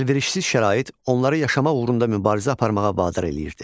Əlverişsiz şərait onları yaşamaq uğrunda mübarizə aparmağa vadar eləyirdi.